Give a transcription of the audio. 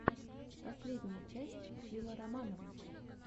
последняя часть фила романова